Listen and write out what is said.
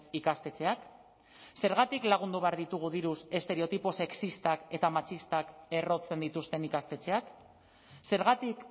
ikastetxeak zergatik lagundu behar ditugu diruz estereotipo sexistak eta matxistak errotzen dituzten ikastetxeak zergatik